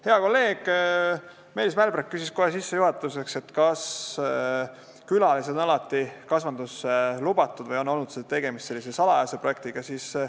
Hea kolleeg Meelis Mälberg küsis kohe sissejuhatuseks, kas külalised on alati kasvandusse lubatud või on olnud tegemist salajase projektiga.